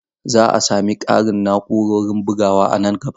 Za a sami ƙarin na'urorin bugawa a nan gaba.